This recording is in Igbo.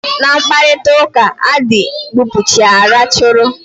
Na mkparitauka, a dị gbupucha racharu